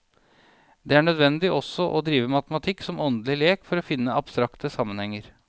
Det er nødvendig også å drive matematikk som åndelig lek for å finne abstrakte sammenhenger.